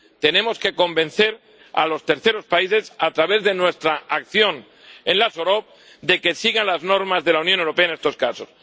Tenemos que convencer a los terceros países, a través de nuestra acción en las OROP, de que sigan las normas de la Unión Europea en estos casos.